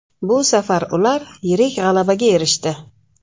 Bu safar ular yirik g‘alabaga erishdi.